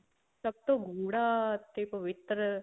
ਸਭ ਤੋਂ ਗੂੜ੍ਹਾ ਅਤੇ ਪਵਿੱਤਰ